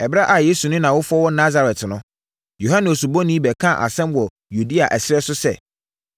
Ɛberɛ a Yesu ne nʼawofoɔ wɔ Nasaret no, Yohane Osubɔni bɛkaa asɛm wɔ Yudea ɛserɛ so sɛ,